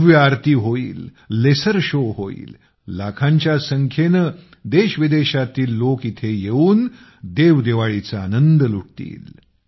भव्य आरती होईल लेसर शो होईल लाखांच्या संख्येने देशविदेशातील लोक येऊन देवदिवाळीचा आनंद लुटतील